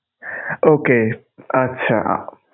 Okay আচ্ছা.